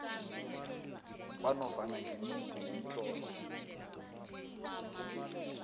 kwanofana ngimuphi umtlolo